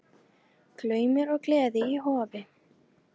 Glaumur og gleði í Hofi